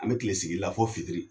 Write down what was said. An mɛ kile sigi la fɔ fitiri